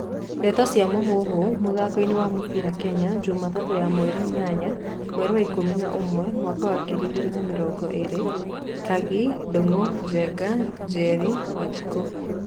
Ndeto cia Mũhuhu, mũthakoini wa mũbĩra Kenya, Jumatatũ ya mweri inyanya, mweri wa ikũmi na ũmwe, mwaka wa ngiri igĩrĩ na mĩrongo ĩrĩ:Kangi, Ndungu, Njenga, Njeri, wanjiku